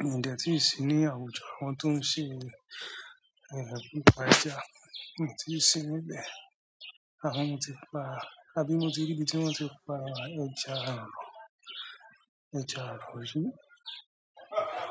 Mí ìdẹ̀ tí sì ní àwùjọ, àwọn tó ń ṣe, àwọn eyan to n pa ẹja, mi o ti sì níbẹ̀. Àmọ mo tí pa, àbí mo ti rí bí tí wọ́n ti pa ẹja aro, ẹja arọ̀ ri.